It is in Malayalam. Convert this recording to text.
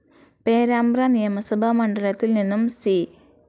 പേരാമ്പ്ര നിയമസഭാ മണ്ഡലത്തിൽ നിന്നും സി.